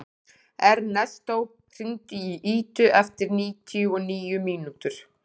Ernestó, hringdu í Idu eftir níutíu og níu mínútur.